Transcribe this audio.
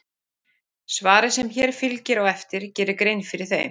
svarið sem hér fylgir á eftir gerir grein fyrir þeim